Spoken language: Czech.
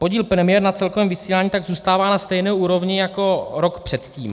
Podíl premiér na celkovém vysílání tak zůstává na stejné úrovni jako rok předtím.